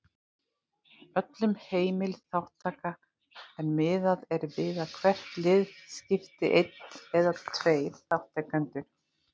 Öllum heimil þátttaka en miðað er við að hvert lið skipi einn eða tveir þátttakendur.